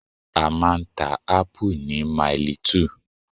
A máa ń ta Ápù ni Mailí 2